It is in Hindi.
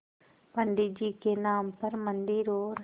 पंडित जी के नाम पर मन्दिर और